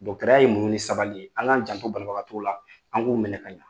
ya ye muɲu ni sabali ye. An ŋ'an janto banabagatɔw la, an k'u minɛ ka ɲa.